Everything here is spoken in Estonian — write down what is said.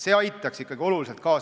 See teenus aitaks oluliselt kaasa.